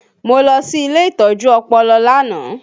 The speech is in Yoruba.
Mo lọ sí ilé ìtọ́jú ọpọlọ lánàá